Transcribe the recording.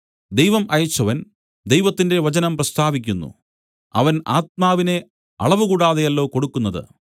ദൈവം അയച്ചവൻ ദൈവത്തിന്റെ വചനം പ്രസ്താവിക്കുന്നു അവൻ ആത്മാവിനെ അളവുകൂടാതെയല്ലോ കൊടുക്കുന്നത്